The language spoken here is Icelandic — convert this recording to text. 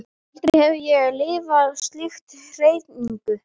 Aldrei hefi ég lifað slíka hreyfingu.